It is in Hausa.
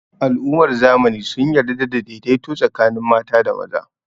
Al'ummar zamani sun yarda da daidaito tsakanin mata da maza